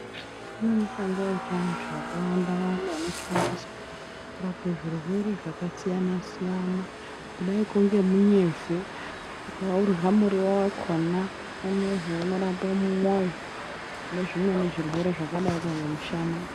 Kune mishonga yechiandu yakawanda Wanda inoshandiswa kurapa zvirwere zvakasiyana-siyana kudai ngekunge munyemve ukaurya muriwo wakona unozi unorapa mwoyo nezvimweni zvirwere zvakadai ngemushana.